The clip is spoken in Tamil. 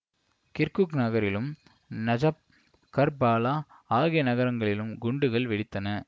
கிர்குக் நகரிலும் நஜப் கர்பாலா ஆகிய நகரங்களிலும் குண்டுகள் வெடித்தன